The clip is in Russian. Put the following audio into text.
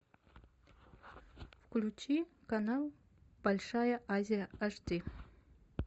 включи канал большая азия аш ди